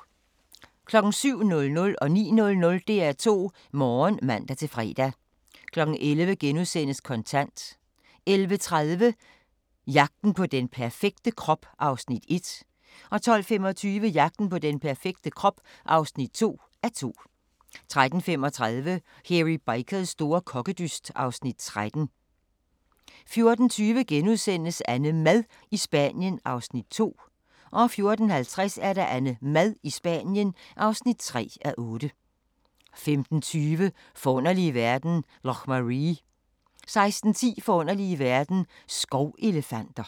07:00: DR2 Morgen (man-fre) 09:00: DR2 Morgen (man-fre) 11:00: Kontant * 11:30: Jagten på den perfekte krop (1:2) 12:25: Jagten på den perfekte krop (2:2) 13:35: Hairy Bikers store kokkedyst (Afs. 13) 14:20: AnneMad i Spanien (2:8)* 14:50: AnneMad i Spanien (3:8) 15:20: Forunderlige verden – Loch Maree 16:10: Forunderlige verden – Skovelefanter